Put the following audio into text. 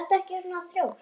Vertu ekki svona þrjósk!